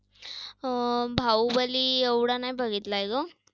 अं बाहुबली एवढा नाही बघितलाय ग.